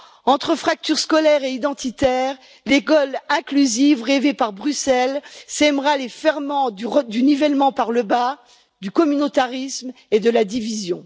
Entre fracture scolaire et identitaire, l'école inclusive rêvée par Bruxelles sèmera les ferments du nivellement par le bas, du communautarisme et de la division.